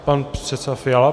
Pan předseda Fiala?